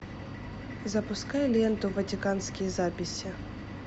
запускай ленту ватиканские записи